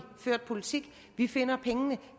ført politik vi finder pengene